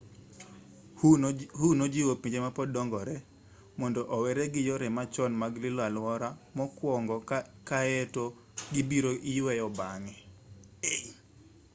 hu nojiwo pinje ma pod dongore mondo owere gi yore machon mag lilo aluora mokwongo kaeto ibiro iyweyo bang'e